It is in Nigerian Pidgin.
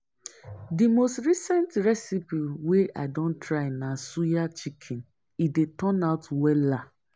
Di most recent recipe wey i don try na suya chicken, e dey turn out wella.